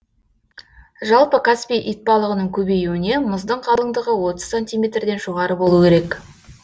жалпы каспий итбалығының көбеюіне мұздың қалыңдығы отыз сантиметрден жоғары болуы керек